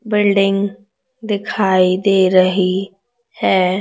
Building दिखाई दे रही है।